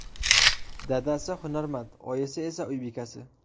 Dadasi hunarmand, oyisi esa uy bekasi.